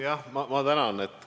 Jah, ma tänan!